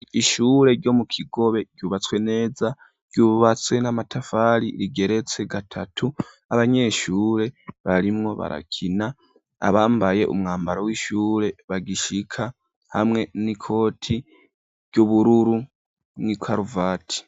Ishure ryo mu kigobe ryubatswe neza ryubatswe n'amatafari rigeretse gatatu abanyeshure barimwo barakina abambaye umwambaro w'ishure bagishika hamwe n'ikoti ry'ubururu n'ikaruvati.